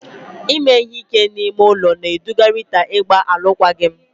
Ime ihe ike n'ime ụlọ na-eduga Rita ịgba alụkwaghịm.